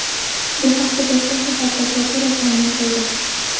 Bu haqda Toshkent shahar prokuraturasi ma’lum qildi .